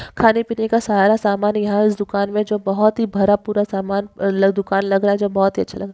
खाने पीने का सारा सामान यह दुकान मे बहोत ही भरा पूरा सामान अलग दुकान लग रहा है जो बहोत ही अच्छा लग--